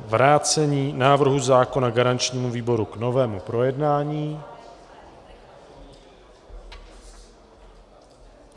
vrácení návrhu zákona garančnímu výboru k novému projednání.